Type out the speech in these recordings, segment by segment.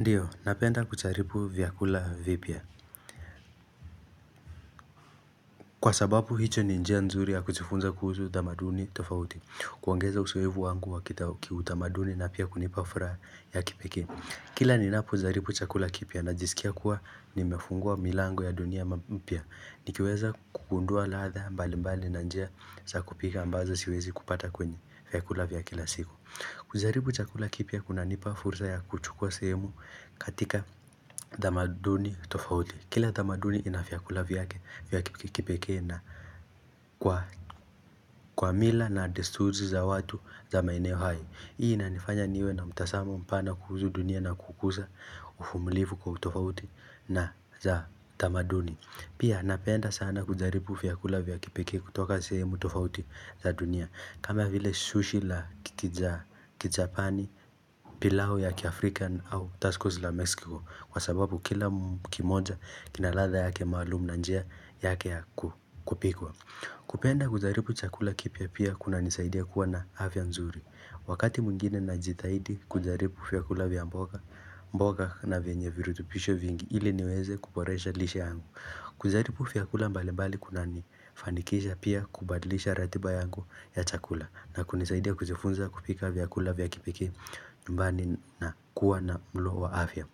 Ndiyo, napenda kujaribu vyakula vipya. Kwa sababu, hiyo ni njia nzuri ya kujifunza kuhusu tamaduni tofauti. Kuongeza uzoefu wangu wa kitao kiutamaduni na pia kunipa furaha ya kipekee. Kila ninapojaribu chakula kipya najisikia kuwa nimefungua milango ya dunia mpya. Nikiweza kugundua ladha mbali mbali na njia za kupika ambazo siwezi kupata kwenye vyakula vya kila siku. Kujaribu chakula kipya kunanipa fursa ya kuchukua sehemu katika tamaduni tofauti. Kila tamaduni ina vyakula vyake vya kipekee na kwa kwa mila na desturi za watu za maeneo hayo. Hii inanifanya niwe na mtazamo mpana kuhusu dunia na kukuza uvumlivu kwa utofauti na za tamaduni. Pia napenda sana kujaribu vyakula vya kipekee kutoka sehemu tofauti za dunia kama vile sushi la kija kijapani, pilau ya kiafrika au tackos la Mexico. Kwa sababu kila kimoja kina ladha yake maalumu na njia yake ya ku kupikwa. Kupenda kujaribu chakula kipya pia kunanisaidia kuwa na afya nzuri. Wakati mwingine najitahidi kujaribu vyakula vya mboga mboga na venye virutupisho vingi ili niweze kuboresha lishe yangu kujaribu vyakula mbali mbali kunanifanikisha pia kubadlisha ratiba yangu ya chakula na kunisaidia kujifunza kupika vyakula vya kipeke bali na kuwa na mlo wa afya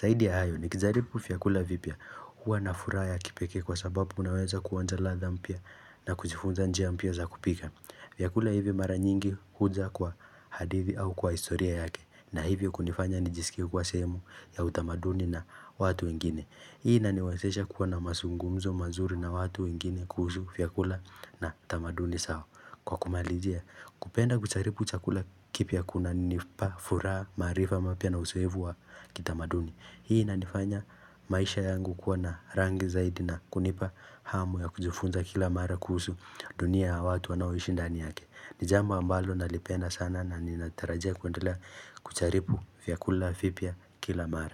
Zaidi ya hayo nikijaribu vyakula vipya huwa na furaha ya kipeke kwa sababu unaweza kuonja ladha mpya na kujifunza njia mpya za kupika. Vyakula hivi mara nyingi huja kwa hadithi au kwa historia yake na hivyo kunifanya nijisikie kuwa sehemu ya utamaduni na watu wengine. Hii inaniwezesha kuwa na mazungumzo mazuri na watu wengine kuhusu vyakula na tamaduni zao. Kwa kumalizia, kupenda kujaribu chakula kipya kunanipa furaha, maarifa mapya na uzoefu wa kitamaduni. Hii inanifanya maisha yangu kuwa na rangi zaidi na kunipa hamu ya kujifunza kila mara kuhusu dunia ya watu wanaoishi ndani yake. Ni jambo ambalo nalipenda sana na ninatarajia kuendelea kujaribu vyakula vipya kila mara.